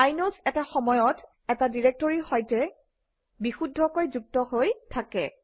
inodes এটা সময়ত এটা ডিৰেক্টৰীৰ সৈতে বিশুদ্ধকৈ যুক্ত হৈ থাকে